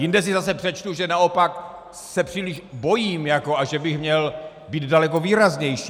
Jinde si zase přečtu, že naopak se příliš bojím a že bych měl být daleko výraznější.